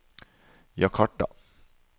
Jakarta